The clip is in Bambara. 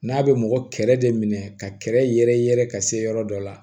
N'a bɛ mɔgɔ kɛrɛ de minɛ ka kɛrɛ yɛrɛ yɛrɛ ka se yɔrɔ dɔ la